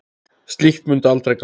Slíkt mundi aldrei ganga.